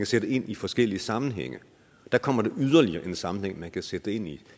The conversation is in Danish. sætte ind i forskellige sammenhænge og der kommer der yderligere en sammenhæng man kan sætte det ind i